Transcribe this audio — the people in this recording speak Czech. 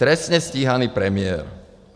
Trestně stíhaný premiér.